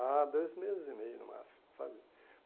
Ah, dois meses e meio, no máximo, sabe?